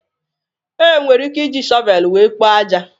Enwere ike iji shọvelu wéé kpoo ájá.